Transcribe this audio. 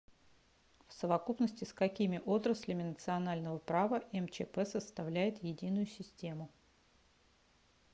в совокупности с какими отраслями национального права мчп составляет единую систему